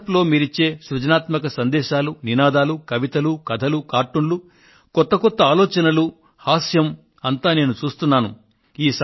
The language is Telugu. వాట్సప్ లో మీరు ఇచ్చే సృజనాత్మక సందేశాలు నినాదాలు కవితలు కథలు కార్టూన్లు కొత్త కొత్త ఆలోచనలు హాస్యం అంతా నేను చూస్తున్నాను